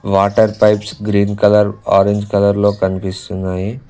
Water pipes green colour orange colour లో కనిపిస్తున్నాయి.